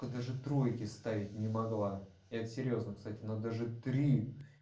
даже тройки ставить не могла это серьёзно кстати надо же три